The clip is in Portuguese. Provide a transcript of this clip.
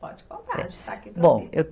Pode contar, a gente está aqui para ouvir. Bom